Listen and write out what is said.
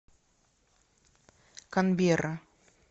канберра